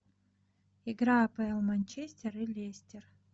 игра апл манчестер и лестер